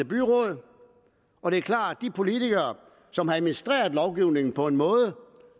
byråd og det er klart at politikere som har administreret lovgivningen på en måde